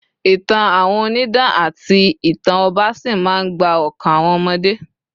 ìtàn àwọn onidan ati ìtàn ọba sí ma n gba okan àwọn omode